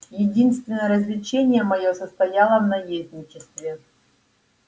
единственное развлечение моё состояло в наездничестве